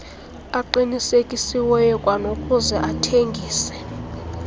aqinisekisiweyo kwanokuze athengise